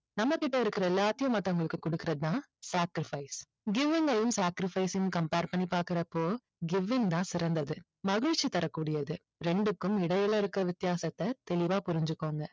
நம்மகிட்ட இருக்குற எல்லாத்தையும் மற்றவங்களுக்கு கொடுக்குறது தான் sacrifice given அயும் sacrifice அயும் compare பண்ணி பாக்குறப்போ given தான் சிறந்தது மகிழ்ச்சி தர கூடியது ரெண்டுக்கும் இடையில இருக்குற வித்தியாசத்தை தெளிவா புரிஞ்சிக்கோங்க